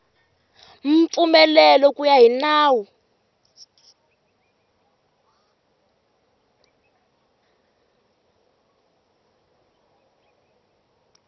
mpfumelelo ku ya hi nawu